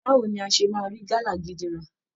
Báwo ni a ṣe máa rí gálà gidi rà!